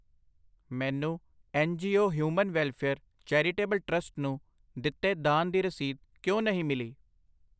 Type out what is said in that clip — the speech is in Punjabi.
ਮੈਨੂੰ N G O human welfare charitable trust ਨੂੰ ਦਿੱਤੇ ਦਾਨ ਦੀ ਰਸੀਦ ਕਿਉਂ ਨਹੀਂ ਮਿਲੀ?